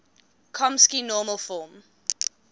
chomsky normal form